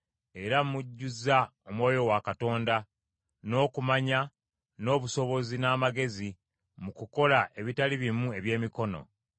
era mmujjuzza Omwoyo wa Katonda, n’okumanya, n’obusobozi n’amagezi mu kukola ebitali bimu ebyemikono